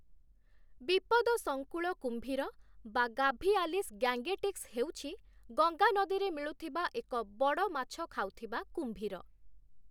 ବିପଦ ସଙ୍କୁଳ କୁମ୍ଭୀର (ଗାଭିଆଲିସ୍ ଗ୍ୟାଙ୍ଗେଟିକ୍ସ) ହେଉଛି, ଗଙ୍ଗା ନଦୀରେ ମିଳୁଥିବା ଏକ ବଡ଼ ମାଛ ଖାଉଥିବା କୁମ୍ଭୀର ।